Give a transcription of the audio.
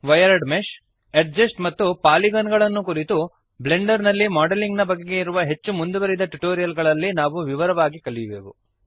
wired mesh edges ಮತ್ತು ಪಾಲಿಗನ್ಗಳನ್ನು ಕುರಿತು ಬ್ಲೆಂಡರ್ ನಲ್ಲಿ ಮಾಡೆಲಿಂಗ್ ನ ಬಗೆಗೆ ಇರುವ ಹೆಚ್ಚು ಮುಂದುವರಿದ ಟ್ಯುಟೋರಿಯಲ್ ಗಳಲ್ಲಿ ನಾವು ವಿವರವಾಗಿ ಕಲಿಯುವೆವು